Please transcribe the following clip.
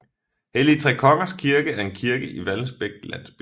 Helligtrekongers Kirke er en kirke i Vallensbæk Landsby